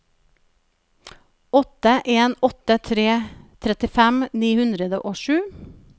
åtte en åtte tre trettifem ni hundre og sju